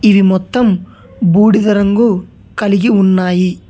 ఇవి మొత్తం బూడిద రంగు కలిగి ఉన్నాయి.